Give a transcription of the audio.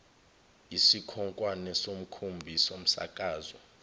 isikhonkwane somkhumbi somsakazo